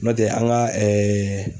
Nɔtɛ an ŋa